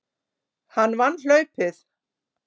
Hann vann hlaupið.